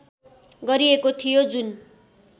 गरिएको थियो जुन